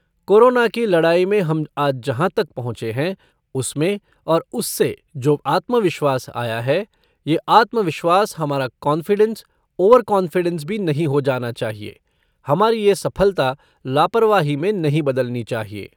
Corona की लड़ाई में हम आज जहाँ तक पहुंचे हैं उसमें और उससे जो आत्मविश्वास आया है, ये आत्मविश्वास हमारा कॉन्फिडेंस, ओवर कॉन्फिडेंस भी नहीं हो जाना चाहिए। हमारी ये सफलता लापरवाही में नहीं बदलनी चाहिए।